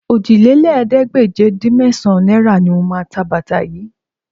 Òjìlélẹ́ẹ̀ẹ́dégbèje-dín-mẹ́sàn-án náírà ni mo máa ta bàtà yìí